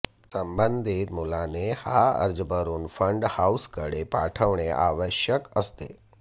संबंधित मुलाने हा अर्ज भरून फंड हाऊसकडे पाठवणे आवश्यक असते